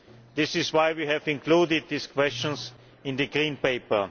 This is why we have included these questions in the Green Paper.